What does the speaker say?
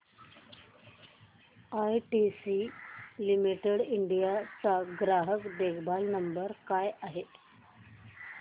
ITC limited India चा ग्राहक देखभाल नंबर काय आहे